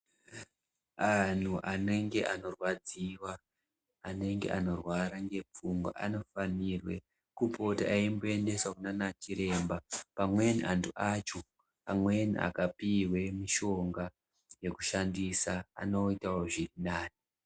Anhu anenge anorwadziwa anenge anorwara ngepfungwa anofanirwe kupota eimboendeswe kunana chiremba amweni antu acho amweni akabhuirwe mishonga yekushandisa anoitawo zvirinane